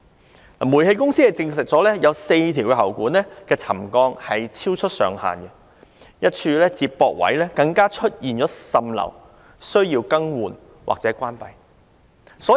香港中華煤氣有限公司證實有4條喉管的沉降超出上限，一處接駁位更出現滲漏，須更換或關閉。